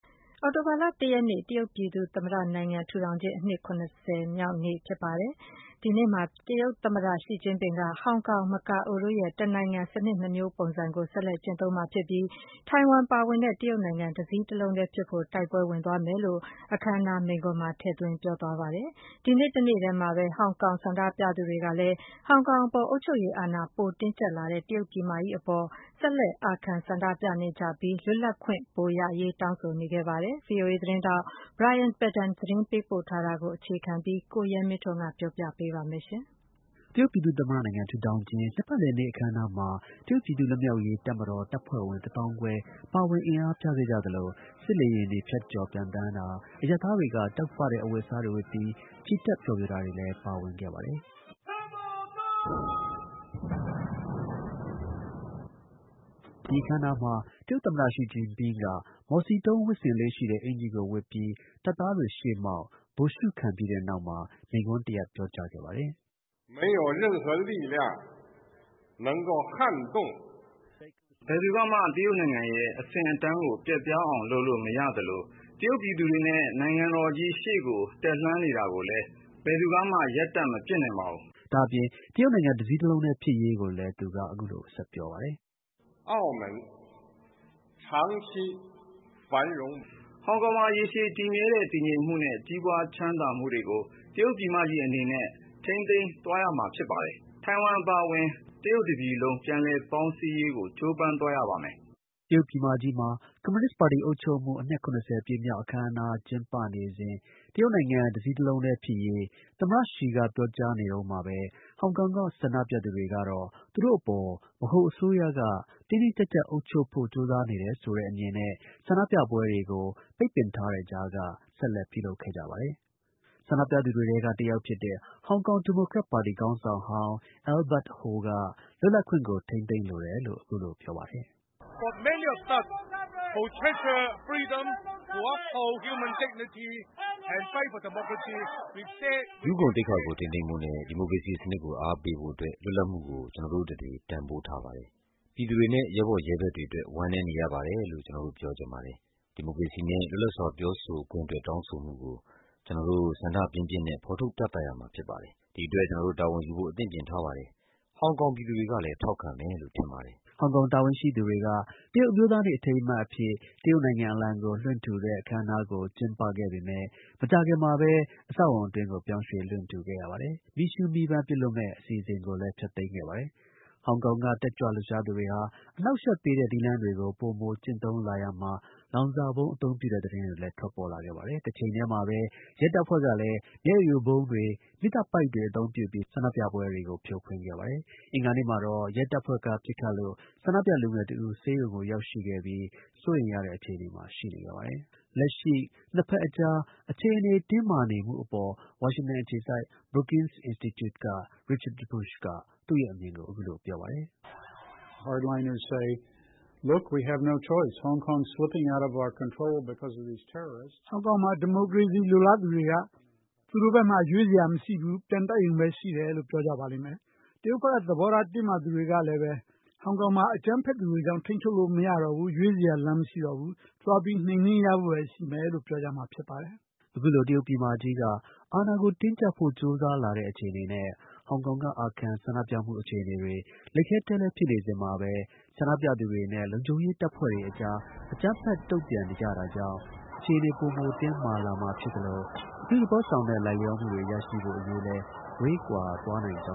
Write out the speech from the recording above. အောက်တိုဘာလ ၁ ရက်နေ့ တရုတ်ပြည်သူ့ သမ္မတနိုင်ငံ ထူထောင်ခြင်း အနှစ် ၇၀ မြောက် အခမ်းအနားမှာ တရုတ်သမ္မတ ရှီဂျင်ပင်းက ဟောင်ကောင် မကာအိုတို့ရဲ့ တစ်နိုင်ငံ စနစ် ၂ မျိုးပုံစံကို ဆက်လက် ကျင့်သုံးမှာ ဖြစ်ပြီး ထိုင်ဝမ် ပါဝင်တဲ့ တရုတ်နိုင်ငံ တစ်စည်းတစ်လုံးဖြစ်ဖို့ တိုက်ပွဲဝင်သွားမယ်လို့ မိန့်ခွန်းမှာ ထည့်သွင်းပြောကြားသွားခဲ့ပါတယ်။ အဲဒီနေ့ တစ်နေ့တည်းမှာပဲ ဟောင်ကောင်က ဆန္ဒပြသူတွေကလည်း ဟောင်ကောင်အပေါ် အုပ်ချုပ်ရေးအာဏာ ပို တင်းကျပ်လာတဲ့ တရုတ်ပြည်မကြီးအပေါ် ဆက်လက် အာခံ ဆန္ဒပြနေ ပြီး ပိုမို လွတ်လပ်ခွင့်တွေ တောင်းဆိုနေခဲ့ပါတယ်။ VoA သတင်းထောက် Brian Padden သတင်းပေးပို့ထားတာကို အခြေခံပြီး ကိုရဲမင်းထွန်း က တင်ပြပေးပါမယ်။ တရုတ်ပြည်သူ့ သမ္မတနိုင်ငံ ထူထောင်ခြင်း နှစ်ပတ်လည် အခမ်းအနားမှာ တရုတ်ပြည်သူ့တပ်မတော် တပ်ဖွဲ့ဝင် ၁ သောင်းခွဲ အင်အားပြတာ၊ စစ်လေယာဉ်တွေ ဖြတ်ကျော် ပျံသန်းတာ၊ အရပ်သားတွေက တောက်ပတဲ့ အဝတ်အစားတွေဝတ်ပြီး ချီတက်ဖျော်ဖြေတာတွေ ပါဝင်ခဲ့ ပါတယ်။ ဒီအခမ်းအနားမှာ မော်စီတုန်း ဝတ်ဆင်လေ့ရှိတဲ့အကျီၤကို ဝတ်ပြီး တရုတ် သမ္မတ ရှီဂျင်ပင်းက တပ်သားတွေရှေ့မှောက် ဗိုလ်ရှုခံပြီးတဲ့နောက်မှာ မိန့်ခွန်း ပြောကြားခဲ့ပါတယ်။ "ဘယ်သူကမှ တရုတ်နိုင်ငံရဲ့ အဆင့်အတန်းကို ပျက်ပြားအောင်လုပ်လို့ မရသလို တရုတ်ပြည်သူတွေနဲ့ နိုင်ငံတော်ကြီး ရှေ့ကို တက်လှမ်းနေတာကိုလည်း ဘယ်သူကမှ ရပ်တံ့မပစ်နိုင်ပါဘူး။” ဒါ့အပြင် တရုတ်နိုင်ငံ တစ်စည်းတစ်လုံးတည်း ဖြစ်ရေးကိုလည်း သမ္မတ ရှီဂျင်းပင်းက အခုလို ဆက်ပြောပါတယ်။ “ဟောင်ကောင်မှာ ရေရှည်တည်မြဲတဲ့ တည်ငြိမ်မှုနဲ့ ကြီးပွားချမ်းသာမှုတွေကို တရုတ်ပြည်မကြီးအနေနဲ့ ထိန်းသိမ်းသွားရမှာဖြစ်တယ်။ ထိုင်ဝင်အပါအဝင် တရုတ်တစ်ပြည်လုံး ပြန်လည် ပေါင်းစည်းရေး ကြိုးပမ်းသွားရမယ်။” တရုတ်ပြည်မကြီးမှာ ကွန်မြူနစ်ပါတီ အုပ်ချုပ်မှု အနှစ် ၇၀ ပြည့်မြောက်တဲ့ အခမ်းအနား ကျင်းပနေစဉ် တရုတ်နိုင်ငံ တစည်းတစ်လုံး တည်းဖြစ်ရေး သမ္မတ ရှီက ပြောကြားနေတဲ့ တစ်ရက်တည်းမှာပဲ ဟောင်ကောင်မှာ ဆန္ဒပြသူတွေကတော့ သူတို့အပေါ် ဗဟိုအစိုးရက တင်းတင်းကျပ်ကျပ် အုပ်ချုပ်ဖို့ ကြိုးစားနေတယ်ဆိုတဲ့အမြင်နဲ့ ဆန္ဒပြပွဲတွေကို ပိတ်ပင် ထားတဲ့ကြားက ဆက်လက် ပြုလုပ်ခဲ့ပါတယ်။ ဆန္ဒပြသူတွေထဲက တစ်ယောက်ဖြစ်တဲ့ ဟောင်ကောင် ဒီမိုကရက်တစ်ပါတီ ခေါင်းဆောင်ဟောင်း Albert Ho က လွတ်လပ်ခွင့်ကို ထိန်းသိမ်းလိုတယ်လို့ ပြောပါတယ်။ "လူ့ဂုဏ်သိက္ခာကို ထိန်းသိမ်းဖို့နဲ့ ဒီမိုကရေစီစနစ်ကို အားပေးဖို့အတွက် လွတ်လပ်မှုကို ကျွန်တော်တို့တစ်တွေ တန်ဖိုးထားပါတယ်။ ပြည်သူတွေနဲ့ ရဲဘော်ရဲဘက်တွေအတွက် ဝမ်းနည်းနေရပါတယ်လို့ ကျွန်တော်တို့ ပြောချင်ပါတယ်။ ဒီမိုကရေစီနဲ့ လွတ်လပ်စွာ ပြောဆိုခွင့်အတွက် တောင်းဆိုမှုကို ကျွန်တော်တို့ ဆန္ဒပြင်းပြင်းနဲ့ ဖော်ထုတ်ပြသရမှာဖြစ်ပါတယ်။ ဒီအတွက် ကျွန်တော်တို့ တာဝန်ယူဖို့ အသင့်ပြင်ထားပါတယ်။ ဟောင်ကောင် ပြည်သူတွေကလည်း ထောက်ခံမယ်လို့ ထင်ပါတယ်” ဟောင်ကောင် တာဝန်ရှိသူတွေက တရုတ်အမျိုးသားနေ့ အထိမ်းအမှတ်အဖြစ် တရုတ်နိုင်ငံ အလံကို လွှင့်ထူတဲ့ အခမ်းအနားကို ကျင်းပခဲ့ ပေမဲ့ မကြာခင်မှာပဲ အဆောက်အအုံ အတွင်းကို ပြောင်းရွှေ့ လွှင့်ထူခဲ့ရပါတယ်။ မီးရှူးမီးပန်း ပစ်လွှတ်မယ့် အစီအစဉ်ကိုလည်း ဖျက်သိမ်းလိုက်ပါတယ်။ ဟောင်ကောင်က တက်ကြွ လှုပ်ရှားသူတွေဟာ အနှောက်အယှက်ပေးတဲ့ နည်းလမ်းတွေကို ပိုမို ကျင့်သုံးလာရာမှာ လောင်စာဗုံး အသုံးပြုတဲ့ သတင်းတွေလည်း ထွက်ပေါ်ခဲ့ပါတယ်။ တစ်ချိန်တည်းမှာပဲ ရဲတပ်ဖွဲ့တွေကလည်း မျက်ရည်ယိုဗုံးတွေ၊ မီးသတ်ပိုက်တွေ အသုံးပြုပြီး ဆန္ဒပြပွဲတွေကို ဖြိုခွင်းပါတယ်။ အင်္ဂါနေ့မှာတော့ ရဲတပ်ဖွဲ့ ပစ်ခတ်လို့ ဆန္ဒပြလူငယ်တစ်ဦး ဆေးရုံရောက်ပြီး စိုးရိမ်ရတဲ့ အခြေအနေမှာ ရှိနေပါတယ်။ လက်ရှိ နှစ်ဖက်အကြား အခြေအနေတင်းမာမှုအပေါ် ဝါရှင်တန် အခြေစိုက် Brookings Institute က Richard Bush က သူ့ရဲ့ အမြင်ကို ပြောပြပါတယ်။ “ဟောင်ကောင်က ဒီမိုကရေစီ လိုလားသူတွေက သူတို့မှာ ရွေးစရာမရှိဘူး ပြန်တိုက်ရုံပဲ ရှိတယ်လို့ ပြောမယ်။ တရုတ်က သဘောထား တင်းမာသူတွေကလည်း ကြည့် ဟောင်ကောင်မှာ အကြမ်းဖက်သူတွေကြောင့် ထိန်းချုပ်လို့ မရတော့ဘူး။ ရွေးစရာလမ်းမရှိဘူး။ သွားပြီး နှိမ်နင်းရဖို့ပဲ ရှိမယ်လို့ ပြောကြမယ်လေ။” အခုလို တရုတ် ပြည်မကြီးက အာဏာကို တင်းကျပ်ဖို့ ကြိုးစားလာတဲ့အခြေအနေနဲ့ ဟောင်ကောင်က အာခံ ဆန္ဒပြမှုတွေအခြေအနေ လိပ်ခဲတည်းလည်း ဖြစ်နေစဉ်မှာပဲ ဆန္ဒပြသူတွေနဲ့ လုံခြုံရေး တပ်ဖွဲ့တွေအကြား အကြမ်းဖက် တုံ့ပြန်နေတာကြောင့် အခြေအနေ ပိုမို တင်းမာလာမှာ ဖြစ်သလို အပြုသဘောဆောင်တဲ့ လိုက်လျောမှုတွေ ရရှိဖို့အရေးလည်း ဝေးကွာသွားနိုင်ကြ